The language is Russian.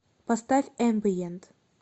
поставь эмбиент